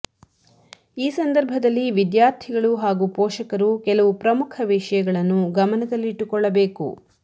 ಈ ಸಂದರ್ಭದಲ್ಲಿ ವಿದ್ಯಾರ್ಥಿಗಳು ಹಾಗೂ ಪೋಷಕರು ಕೆಲವು ಪ್ರಮುಖ ವಿಷಯಗಳನ್ನು ಗಮನದಲ್ಲಿಟ್ಟುಕೊಳ್ಳಬೇಕು